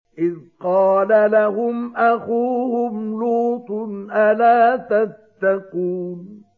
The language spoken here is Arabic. إِذْ قَالَ لَهُمْ أَخُوهُمْ لُوطٌ أَلَا تَتَّقُونَ